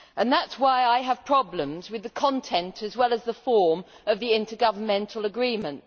That is why I have problems with the content, as well as the form, of the intergovernmental agreement.